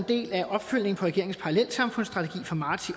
del af opfølgningen på regeringens parallelsamfundsstrategi fra marts